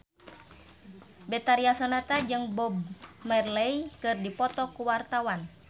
Betharia Sonata jeung Bob Marley keur dipoto ku wartawan